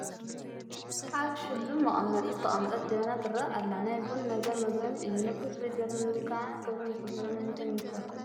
ኣብ ሽሉም መቐመጢ ዝተቐመጠት ጀበና ትርአ ኣላ፡፡ ናይ ቡን ነገር መግረሚ እዩ፡፡ ንቡን ፍልይ ዝበለ ምምልካዕን ክብርን ዝግበረሉ ንምንታይ ይመስለኩም?